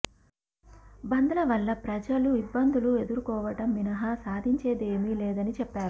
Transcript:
బంద్ల వల్ల ప్రజలు ఇబ్బందులు ఎదుర్కోవడం మినహా సాధించేదేమీ లేదని చెప్పారు